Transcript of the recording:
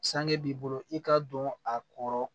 Sange b'i bolo i ka don a kɔrɔ